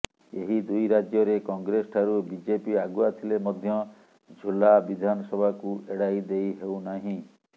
ଏହି ଦୁଇ ରାଜ୍ୟରେ କଂଗ୍ରେସ ଠାରୁ ବିଜେପି ଆଗୁଆ ଥିଲେ ମଧ୍ୟ ଝୁଲା ବିଧାନସଭାକୁ ଏଡ଼ାଇ ଦେଇ ହେଉନାହିଁ